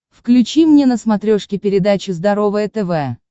включи мне на смотрешке передачу здоровое тв